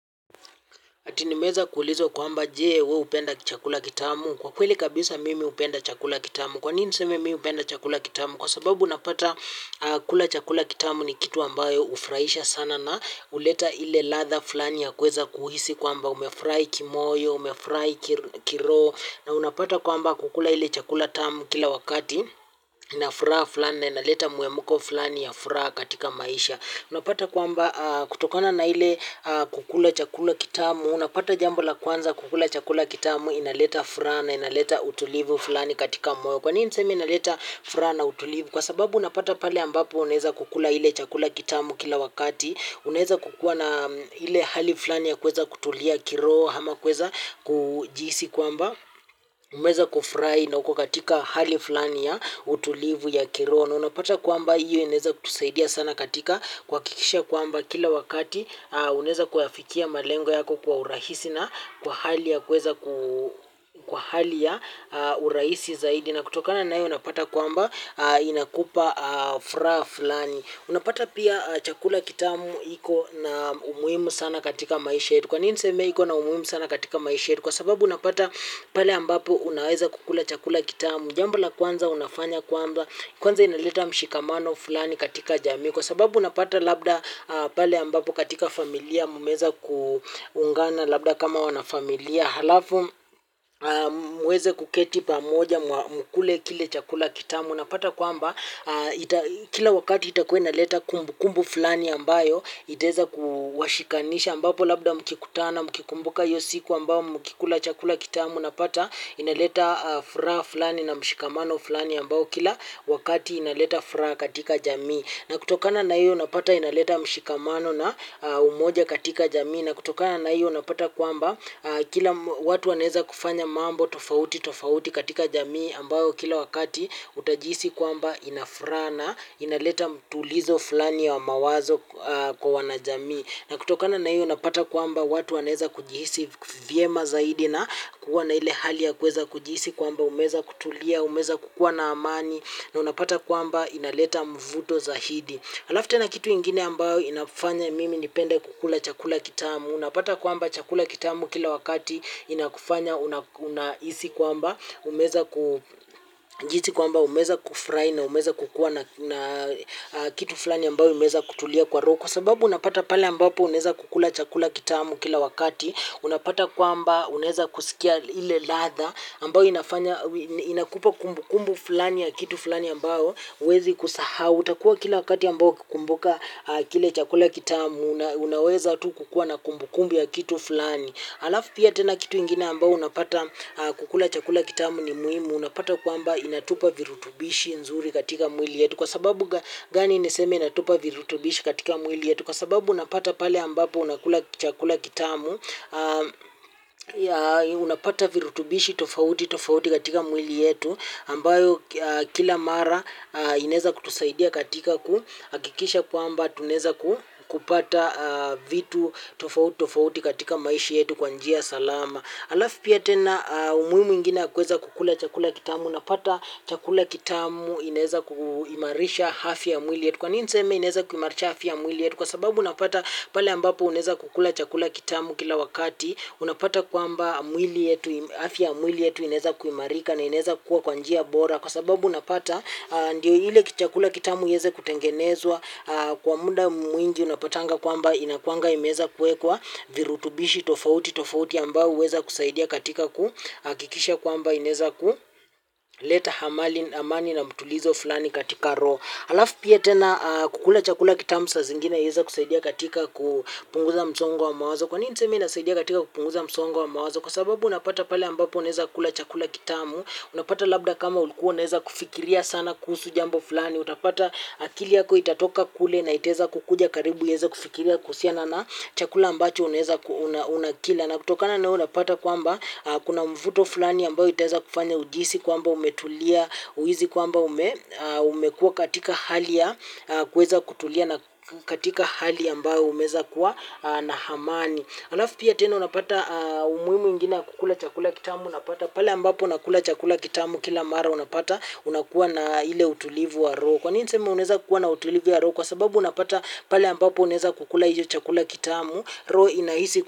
Ati nimeweza kuulizwa je, wewe hupenda chakula kitamu? Kwa kweli kabisa mimi hupenda chakula kitamu. Kwa nini niseme mimi hupenda chakula kitamu? Kwa sababu unapata kula chakula kitamu ni kitu ambayo hufurahisha sana na huleta ile ladha fulani ya kuweza kuhisi kwamba umefurahi kimoyo, umefurahi kiroho na unapata kwamba kukula ile chakula tamu kila wakati inafaa fulani na inaleta mhemko fulani ya furaha katika maisha. Unapata kwamba kutokana na ile kukula chakula kitamu, unapata jambo la kwanza, kukula chakula kitamu kunaleta furaha, kunaleta utulivu fulani moyo. Kwa nini nasema inaleta furaha na utulivu, kwa sababu unapata pale ambapo unaweza kula hicho chakula kitamu kila wakati, unaweza kuwa na ile hali fulani ya kuweza kutulia kiroho, kwa maana kuweza kujisikia kwamba umeweza kufurahi na kuwa katika hali fulani ya utulivu wa kiroho. Unapata kwamba hiyo inaweza kutusaidia sana katika kuhakikisha kwamba kila wakati unaweza kuyafikia malengo yako kwa urahisi na kwa hali ya urahisi zaidi. Na kutokana na hiyo unapata kwamba inakupa furaha fulani. Unapata pia chakula kitamu hicho kina umuhimu sana katika maisha. Kwa nini nasema hicho kina umuhimu sana katika maisha? Kwa sababu unapata pale ambapo unaweza kula chakula kitamu. Jambo la kwanza unalofanya, kwanza, inaleta mshikamano fulani katika jamii. Kwa sababu unapata labda pale ambapo katika familia mmeweza kuungana labda kama wanafamilia. Halafu muweze kuketi pamoja mkule kile chakula kitamu. Unapata kwamba kila wakati itakuwa inaleta kumbukumbu fulani ambayo itaweza kuwashikanisha, ambapo labda mkikutana mkikumbuka usiku ambao mlikula chakula kitamu. Unapata inaleta furaha fulani na mshikamano fulani ambao kila wakati unaleta furaha katika jamii, na kutokana na hiyo unapata inaleta mshikamano na umoja katika jamii, na kutokana na hiyo unapata kwamba kila watu wanaweza kufanya mambo tofauti tofauti katika jamii ambayo kila wakati utajihisi kwamba inafaa, inaleta utulivu fulani wa mawazo. Kwa wanajamii, na kutokana na hiyo unapata kwamba watu wanaweza kujihisi vyema zaidi na kuwa na ile hali ya kuweza kujihisi kwamba umeweza kutulia, umeweza kukuwa na amani. Na unapata kwamba inaleta mvuto zaidi. Halafu na kitu ingine ambacho inafanya mimi nipende kula chakula kitamu. Unapata kwamba chakula kitamu kila wakati kinakufanya unahisi kwamba, ujihisi kwamba umeweza kufurahi na umeweza kukuwa na kitu fulani ambacho umeweza kutulia kwa roho. Kwa sababu unapata pale ambapo unaweza kula chakula kitamu kila wakati, unapata kwamba unaweza kusikia ile ladha ambayo inakupa kumbukumbu fulani ya kitu fulani ambacho, huwezi kusahau. Utakuwa kila wakati ambao kukumbuka kile chakula kitamu, unaweza tu kukuwa na kumbukumbu ya kitu fulani. Halafu pia tena kitu ingine ambacho unapata, kula chakula kitamu ni muhimu. Unapata kwamba inatupa virutubishi nzuri katika mwili wetu. Kwa sababu gani nasema inatupa virutubishi katika mwili wetu? Kwa sababu unapata pale ambapo unapata chakula kitamu, unapata virutubishi tofauti tofauti katika mwili wetu ambavyo kila mara vinaweza kutusaidia katika kuhakikisha kwamba tunaweza kupata vitu tofauti tofauti katika maisha yetu kwa njia salama. Halafu pia tena umuhimu mwingine wa kuweza kukula chakula kitamu, unapata chakula kitamu kinaweza kuimarisha afya ya mwili wetu. Kwa nini nasema kinaweza kuimarisha afya ya mwili wetu? Kwa sababu unapata pale ambapo unaweza kukula chakula kitamu kila wakati. Unapata kwamba afya ya mwili wetu inaweza kuimarika na inaweza kuwa kwa njia bora. Kwa sababu unapata ndiyo ile chakula kitamu iweze kutengenezwa kwa muda mwingi, unapatanga kwamba kinakuwa kimeweza kuwekwa virutubishi tofauti tofauti ambavyo vinaweza kusaidia katika kuhakikisha kwamba unaweza ku kuleta amani na mtulizo fulani katika roho. Halafu pia tena kula chakula kitamu saa zingine huweza kusaidia katika kupunguza msongo wa mawazo. Kwa nini niseme inaweza kusaidia katika kupunguza msongo wa mawazo? Kwa sababu unapata pale ambapo unaweza kula chakula kitamu unapata labda kama ulikuwa unaweza kufikiria sana kuhusu jambo fulani. Utapata akili yako itatoka kule na itaweza kuja karibu, inaweza kufikiria kuhusiana na chakula ambacho unaweza unakila. Na kutokana na hiyo unapata kwamba kuna mvuto fulani ambao utaweza kufanya uhisi kwamba umetulia, uhisi kwamba umekuwa katika hali ya kuweza kutulia na katika hali ambayo umeweza kuwa na amani. Halafu pia tena unapata umuhimu mwingine wa kula chakula kitamu. Unapata pale ambapo unakula chakula kitamu kila mara, unapata unakuwa na ule utulivu wa roho. Kwa nini nasema unaweza kuwa na utulivu wa roho, kwa sababu unapata pale ambapo unaweza kula chakula hicho kitamu, roho inahisi kukula.